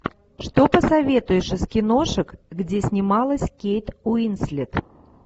что посоветуешь из киношек где снималась кейт уинслет